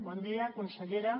bon dia consellera